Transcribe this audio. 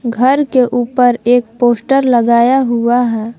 घर के ऊपर एक पोस्टर लगाया हुआ है।